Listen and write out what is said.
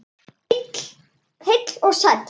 Heill og sæll!